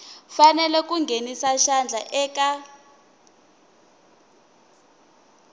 fanele ku nghenisa xandla eka